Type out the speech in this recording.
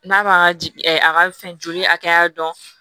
N'a b'a ka a ka fɛn joli hakɛya dɔn